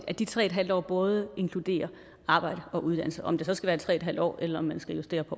at de tre en halv år både inkluderer arbejde og uddannelse om det så skal være tre en halv år eller om man skal justere på